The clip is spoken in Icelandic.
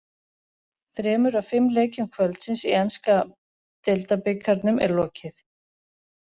Þremur af fimm leikjum kvöldsins í enska deildabikarnum er lokið.